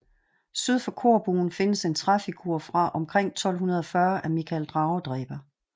Syd for korbuen findes en træfigur fra omkring 1240 af Mikael dragedræber